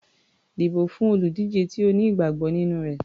Dìbò fún olùdíje tí o ní ìgbàgbọ́ nínú rẹ̀.